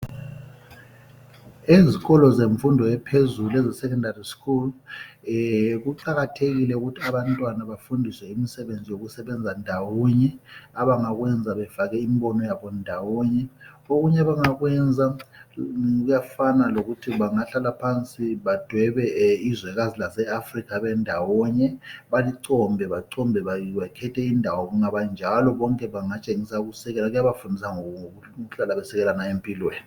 Ezikolo zemfundo ephezulu, eze secondary school. Kuqakathekile ukuthi abantwana bafundiswe imisebenzi yokusebenza ndawonye. Abangakwenza befake imbono yabo ndawonye. Okunye abangakwenza kuyafana lokuthi bangahlala phansi, badwebe izwekazi laseAfrika bendawonye. Balicombe bacombe, bakhethe indawo. Kungabanjalo, bonke bakhethe ukusekela. Kuyabafundisa ukuhlala besekela ngayo empilweni.